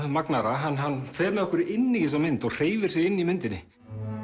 magnaðra hann fer með okkur inn í þessa mynd og hreyfir sig í myndinni